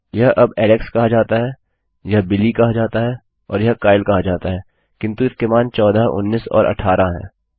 यह अब एलेक्स कहा जाता है यह बिली कहा जाता है और यह काइल कहा जाता है किन्तु इनके मान चौदह उन्नीस और अट्ठारह हैं